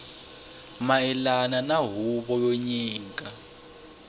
mayelana na huvo yo nyika